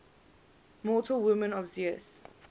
mortal women of zeus